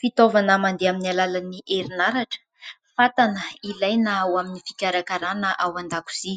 Fitaovana mandeha amin'ny alalan'ny herinaratra, fatana ilaina ho amin'ny fikarakarana ao an-dakozy